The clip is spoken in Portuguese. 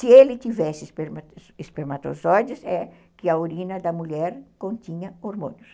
Se ele tivesse espermatozoides, é que a urina da mulher continha hormônios.